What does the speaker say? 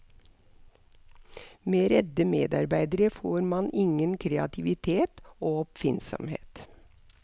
Med redde medarbeidere får man ingen kreativitet og oppfinnsomhet.